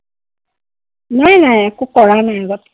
নাই নাই, একো কৰাই নাই আগত।